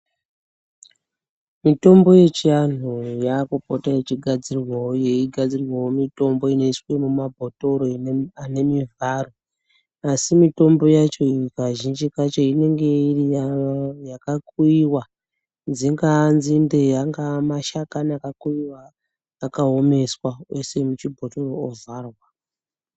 Mitombo yechiantu yaakupota yechigadzirwawo yeigadzirwawo mitombo inoiswe mumabhotoro ane mivharo. Asi mitombo yacho iyi kazhinji kacho inenge iri yakakuyiwa dzingaa nzinde angaa mashakani akakuyiwa akaomesa oiswe muchibhotoro ovharwa.